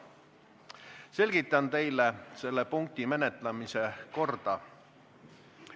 Selgitan teile selle punkti menetlemise korda.